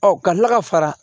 Ɔ ka tila ka fara